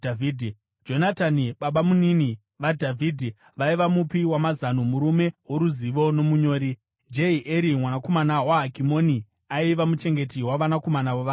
Jonatani, babamunini vaDhavhidhi vaiva mupi wamazano, murume woruzivo nomunyori. Jehieri mwanakomana waHakimoni aiva muchengeti wavanakomana vamambo.